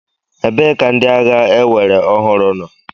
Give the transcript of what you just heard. Ebee ka ndị agha ewere ọhụrụ nọ?